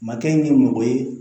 Makɛ in kɛ mɔgɔ ye